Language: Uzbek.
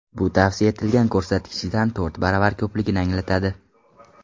Bu tavsiya etilgan ko‘rsatkichdan to‘rt baravar ko‘pligini anglatadi.